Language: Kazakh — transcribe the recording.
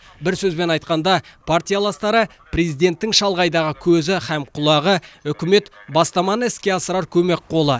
бір сөзбен айтқанда партияластары президенттің шалғайдағы көзі хам құлағы үкімет бастаманы іске асырар көмек қолы